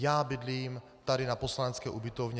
Já bydlím tady na poslanecké ubytovně.